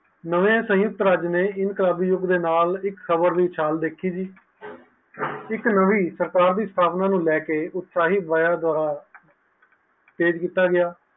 ਨਾਵੈ ਸੰਯੁਕਤ ਰਾਜ੍ਯ ਨੈ ਏਂ ਸਬ ਯੁਗ ਦੇ ਨਾਲ ਇਕ ਖ਼ਬਰ ਦੀ ਚਾਲ ਵੇਖੀ ਇਕ ਨਵੀ ਸਰਕਾਰ ਦੀ ਸਥਾਪਨਾ ਨੂੰ ਲੇਹ ਕੇ ਉਤਾਸੀ ਦੁਆਰਾ ਸਾਵੇ ਕੀਤਾ ਗਿਆ